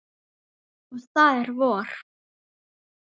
Og það er vor.